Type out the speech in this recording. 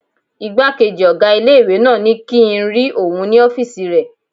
Ìgbákejì ọgá ilé-ìwé náà ní kíi n rí òun ní ọ́fìsì rẹ̀